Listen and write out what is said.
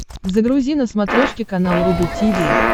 загрузи на смотрешке канал рубль ти ви